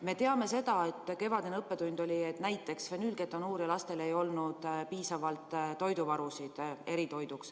Me teame kevadisest õppetunnist seda, et näiteks fenüülketonuuriaga lastel ei olnud piisavalt eritoidu varusid.